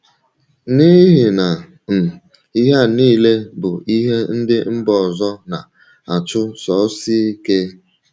N’ihi na um ihe a nile bụ ihe ndị mba ọzọ na - achụsosi ike.